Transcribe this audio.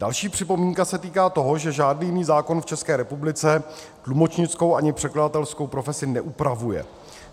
Další připomínka se týká toho, že žádný jiný zákon v České republice tlumočnickou ani překladatelkou profesi neupravuje.